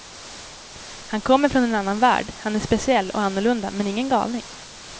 Han kommer från en annan värld, han är speciell och annorlunda men ingen galning.